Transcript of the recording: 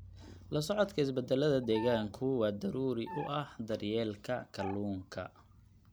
La socodka isbeddelada deegaanku waa daruuri u ah daryeelka kalluunka.